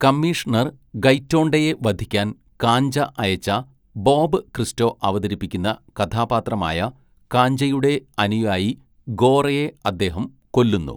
Commissioner ഗൈറ്റോണ്ടെയെ വധിക്കാൻ കാഞ്ച അയച്ച ബോബ് ക്രിസ്റ്റോ അവതരിപ്പിക്കുന്ന കഥാപാത്രമായ കാഞ്ചയുടെ അനുയായി ഗോറയെ അദ്ദേഹം കൊല്ലുന്നു.